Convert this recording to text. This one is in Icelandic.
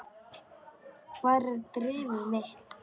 Hvar er drifið mitt?